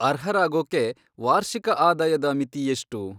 ಅರ್ಹರಾಗೋಕ್ಕೆ ವಾರ್ಷಿಕ ಆದಾಯದ ಮಿತಿ ಎಷ್ಟು?